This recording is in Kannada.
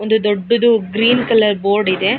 ಒಂದು ದೊಡ್ಡದು ಗ್ರೀನ್ ಕಲರ್ ಬೋರ್ಡ್ ಇದೆ .